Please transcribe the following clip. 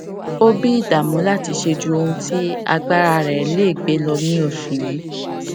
ó bí ìdàmú láti ṣe ju ohun tí agbára rẹ lè gbé lọ ní oṣù yìí